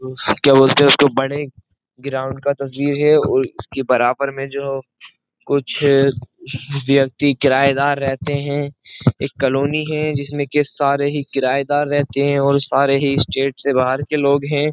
क्या बोलते हैं उसको बड़े ग्राउंड का तस्वीर है और उसके बराबर में जो कुछ व्यक्ति किराएदार रहते हैं एक कॉलोनी है जिसमें के सारे ही किराएदार रहते हैं और सारे ही स्टेट से बाहर के लोग हैं।